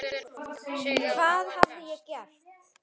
Hvað hafði ég gert?